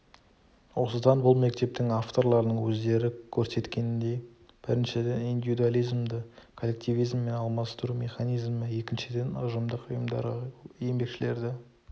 осыдан бұл мектептің авторларының өздері көрсеткеніндей біріншіден индивидуализмді коллективизммен алмастыру механизмі екіншіден ұжымдық ұйымдарға еңбекшілерді